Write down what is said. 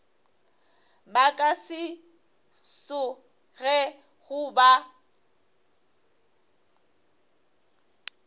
ba ka se tsogego ba